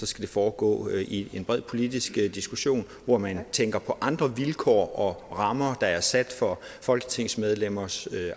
skal foregå i en bred politisk diskussion hvor man tænker på andre vilkår og rammer der er sat for folketingsmedlemmers